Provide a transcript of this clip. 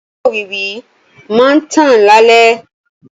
Ojú òwìwí máa ń tàn lálẹ́.